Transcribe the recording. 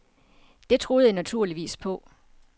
Det troede jeg naturligvis på.